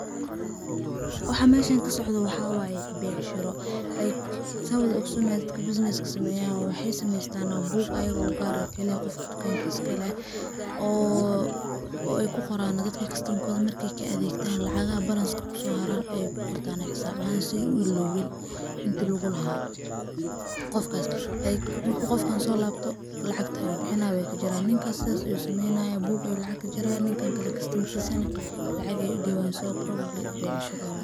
Waxa meshan kasocdo waxa waye becshiro, like san wada ogsonoxo dadka businesses sameyan waxay sameystan book ayaga ugaar ah kaliya gofka tukanka iskaleh, oo ay kuqoran dadka customer markay kaadegta lacagaxa balance iskusoharaan ayay kugortan oo ay xisaab ahan si ay uiowin inti lagulaxaa gofkas, like marku gofkan solabto lacagta ayu bixinayan wad kajareysa, ninka sidhas ayu sameynaya book ayu lacag kajaraya, dan kale customer kisa nah, lacag ayay udiwayan, so probably becshira ayu xelaya.